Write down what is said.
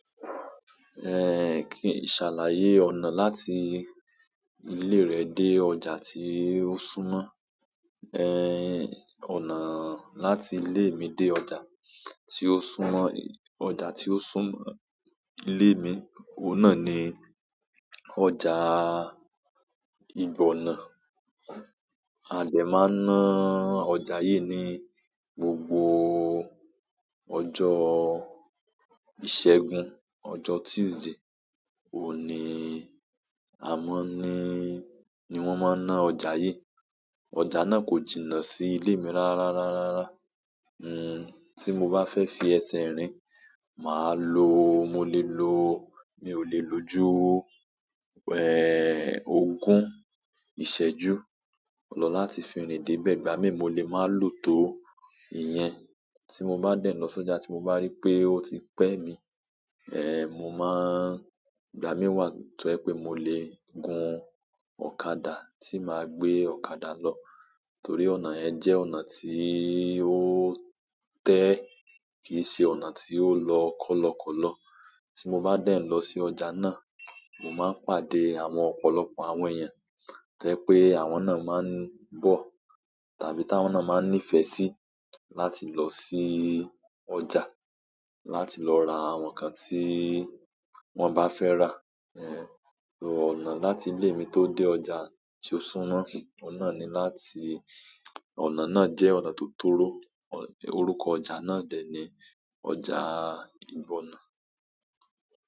Kí n ṣàlàyé ọ̀nà láti ilé rẹ̀ dé ọjà tí ó súmọ́, ọ̀nà láti ilé mi dé ọjà tí ó súmọ́ ilé mi, ohun náà ní ọjà ìgbónà. A des máa n ná ọjà yí ní gbogbo ọjọ́ ìṣẹ́gun, ọjọ́ Tuesday ohun ní, àma n ná, ni wọ́n máa ń ná ọjà yí. Ọjà náà kò jìnnà sí ilé mi rárárárá. Tí mo bá fẹ́ fi ẹsẹ̀ rìn, màá lo, mo lè lo, mi ò lè lo ju ogún ìṣẹ́jú lọ láti fi rìn dé bẹ̀ ìgbà míi mo lè máa lò tò íyen. Tí mo bá dẹ̀ lọ sọ́jà tí mo bá rí pé ó ti pẹ́ mi, mo máa, ìgbà mí wà tó jẹ pé mo lè gun ọ̀kadà, tí màá gbé ọ̀kadà lọ. Torí ọ̀nà yẹn jẹ́ ọ̀nà tí ó tẹ́ kì í ṣe ọ̀nà tí ó lọ kọ̀lọ̀kọ̀lọ̀. Tí mo bá dẹ̀ lọ sí ọjà náà, mo máa pàdé àwọn ọ̀pọ̀lọpọ̀ àwọn èèyàn to jẹ pé àwọn náà máa ń bọ̀ tàbí tí àwọn náà máa ń nífẹ̀ẹ́ sí láti lọ sí ọjà láti lọ ra àwọn nǹkan tí wọ́n bá fẹ́ rà. So, ọ̀nà láti ile mi to de ọjà ti ó súnmọ́, ohun náà láti ọnà náà jẹ ọnà to toro. Orúkọ ọjà náà dè ní ọjà ìgbónà.